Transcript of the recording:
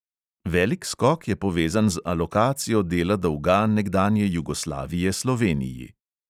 Velik skok je povezan z alokacijo dela dolga nekdanje jugoslavije sloveniji.